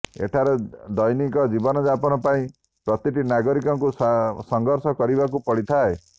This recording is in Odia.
ଏଠାରେ ଦୈନିକ ଜୀବନଯାପନ ପାଇଁ ପ୍ରତିଟି ନାଗରିକଙ୍କୁ ସଂଘର୍ଷ କରିବାକୁ ପଡ଼ିଥାଏ